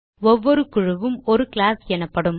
ஒவ்வொரு குழுவும் ஒரு கிளாஸ் எனப்படும்